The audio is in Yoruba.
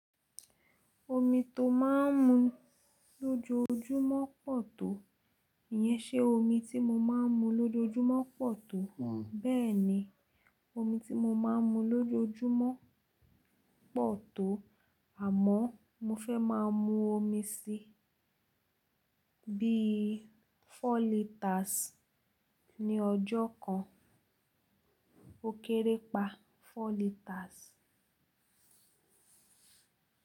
Omi tó máa ń mu lójoojúmọ́ pọ̀ tó, ìyẹn ṣe omi tí mo máa ń mu lójoojúmọ́ pọ̀ tó. Bẹ́ẹ̀ ni, omi tí mo máa ń mu lójoojúmọ́ pọ̀ tó, àmọ́ mo fẹ́ máa mu omi síi bí i four liters ní ọjọ́ kan. Ó kéré pa four liters.